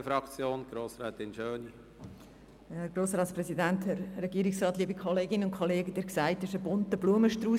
Diese Gesundheitsstrategie ist ein bunter Blumenstrauss.